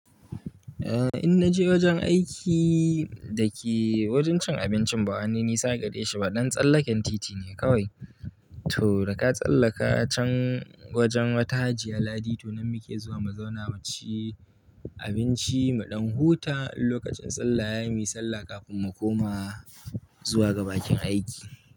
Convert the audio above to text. Eh, in naje wajen aiki da ke wajen cin abincin bawa ni, nisa gare shi ba, dan tsallaken titi ne kawai. To da ka tsallaka can wajen wata Hajiya Ladi, to nan muke zuwa mu zauna mu ci abinci, mu ɗan huta in lokacin salla yayi, muyi sallah kafin mu koma zuwa ga bakin aiki.